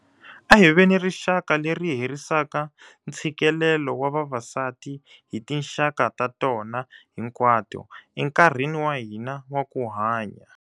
A hi veni rixaka leri herisaka ntshikelelo wa vavasati hi tinxaka ta tona hinkwato, enkarhini wa hina wa ku hanya.